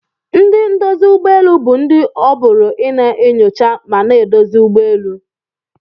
Ndi ndozi ugbọ elụ bu ndi oburu ina nyocha mana edozi ụgbọelụ.